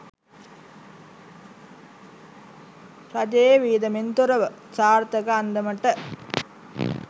රජයේ වියදමෙන් තොරව සාර්ථක අන්දමට